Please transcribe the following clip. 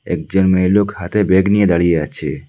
একজন মেয়েলোক হাতে বেগ নিয়ে দাঁড়িয়ে আছে।